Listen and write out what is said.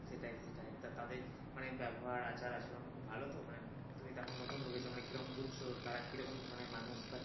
সেটাই সেটাই তা তাদের মানে ব্যবহার আচার-আচরণ খুব ভালো তো মানে তুমি তো এখন নতুন ঢুকেছে মানে কিরম বুঝছো তারা কিরম ধরনের মানুষ বা কি।